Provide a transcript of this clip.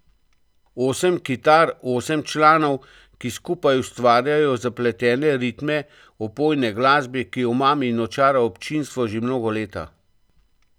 Osem kitar, osem članov, ki skupaj ustvarjajo zapletene ritme opojne glasbe, ki omami in očara občinstvo že mnoga leta.